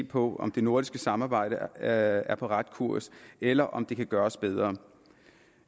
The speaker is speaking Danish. på om det nordiske samarbejde er er på ret kurs eller om det kan gøres bedre